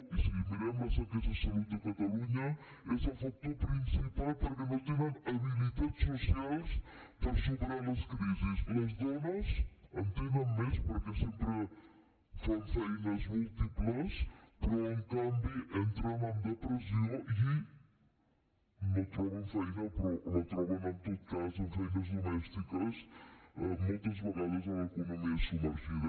i si mirem les enquestes de salut de catalunya és el factor principal perquè no tenen habilitats socials per superar les crisis les dones en tenen més perquè sempre fan feines múltiples però en canvi entren en depressió i no troben feina però la troben en tot cas en feines domèstiques moltes vegades a l’economia submergida